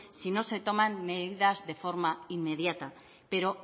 si no se toman medidas de forma inmediata pero